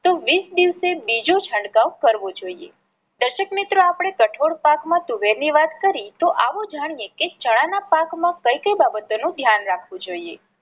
તો વીસ દિવસે બીજો છંટકાવ કરવો જોઈએ. દર્શક મિત્રો આપણે કઠોળ પાક માં તુવેર ની વાત કરી તો આવો જાણીએ કે ચણા ના પાક માં કઈ કઈ બાબતો નું ધ્યાન રાખવું જોઈએ.